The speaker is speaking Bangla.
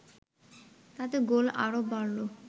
তাতে গোল আরও বাড়ল